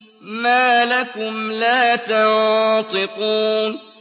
مَا لَكُمْ لَا تَنطِقُونَ